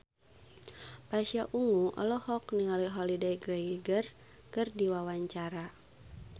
Pasha Ungu olohok ningali Holliday Grainger keur diwawancara